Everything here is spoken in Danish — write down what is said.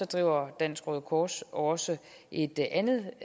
driver dansk røde kors også et andet